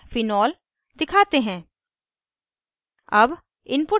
अब screen पर phenol दिखाते हैं